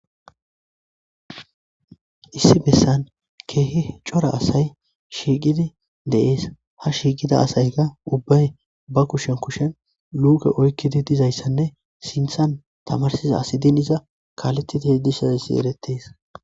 Issi besan kehi c'ora asay shiqidi de'es ha shiqiza asayka ba kushen kushen luke oykizi dizaysane sintan tamarsiza asi din iza kaletishe dizaysi eretes.